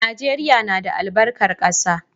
Najeriya na da albarkar ƙasa